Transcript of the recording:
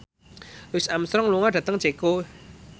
Louis Armstrong lunga dhateng Ceko